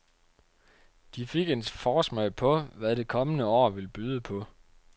De fik en forsmag på, hvad det kommende år vil byde på.